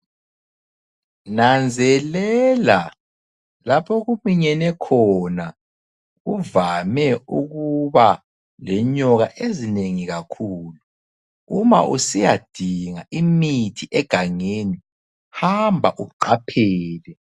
Nanzelela lapho okuminyene khona, kuvame ukuba lenyoka ezinengi kakhulu. Uma usiyadinga imithi egangeni, hamba uqaphele.